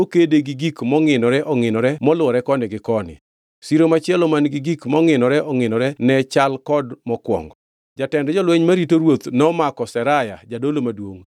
Siro ka siro borne ne romo fut piero ariyo gabiriyo. Mula mane ni e ewi siro ka siro ne romo fut angʼwen gi nus, kendo nokede gi gik mongʼinore ongʼinore molwore koni gi koni. Siro machielo man-gi gik mongʼinore ongʼinore, ne chal kod mokwongo.